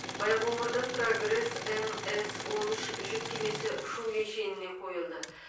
байқоңырда прогресс мс он үш жүк кемесі ұшу кешеніне қойылды